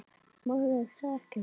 Maður þekkir mann.